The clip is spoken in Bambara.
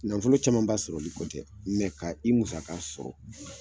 Nafolo caman ba sɔrɔli kɔ tɛ ka i musaka sɔrɔ.